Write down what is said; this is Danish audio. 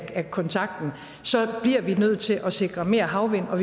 af kontakten så bliver vi nødt til at sikre mere havvind og